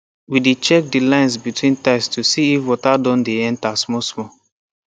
we dey check the line between tiles to see if water don dey enter smallsmall